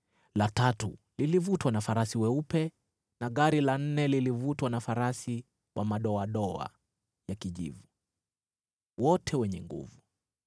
la tatu lilivutwa na farasi weupe na gari la nne lilivutwa na farasi wa madoadoa ya kijivu, wote wenye nguvu.